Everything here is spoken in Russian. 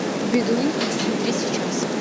бедуин хочу смотреть сейчас